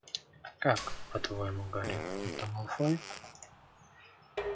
как по-твоему гарри это малфой